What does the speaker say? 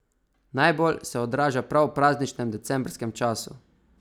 Najbolj se odraža prav v prazničnem decembrskem času.